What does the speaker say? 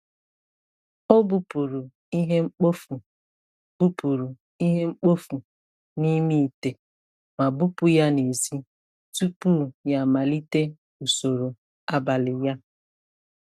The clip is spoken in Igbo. Ọ bupụrụ ihe mkpofu bupụrụ ihe mkpofu n’ime ite ma bupụ ya n’èzí tupu ya amalite usoro abalị ya.